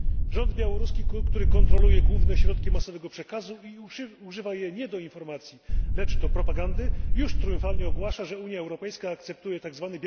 Rząd białoruski, który kontroluje główne środki masowego przekazu i używa ich nie do informacji, lecz do propagandy, już triumfalnie ogłasza, że Unia Europejska akceptuje tzw.